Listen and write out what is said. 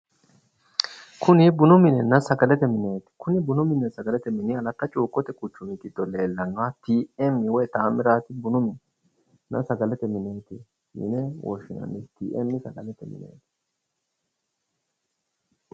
Kuni bununna sagalete mineeti. kuni bununna sagalete mini aletta cuukkote kuchumi giddo leellannoha TM woy tamirat sagalete mine nna sagalete mine yine wishshinsnni TM sagalete mineet.